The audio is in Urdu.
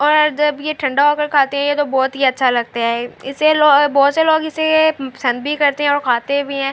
اور جب یہ تہاڈا ہوکر کھاتے تو بہت ہی اچھا لگتا ہے اسے لوگ بہت سے لوگ اسے پسن بھی کرتے ہے اور کھاتے بھی ہے۔